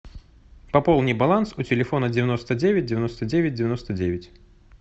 пополни баланс у телефона девяносто девять девяносто девять девяносто девять